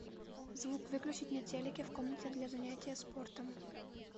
звук выключить на телике в комнате для занятия спортом